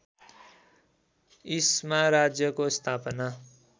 इस्मा राज्यको स्थापना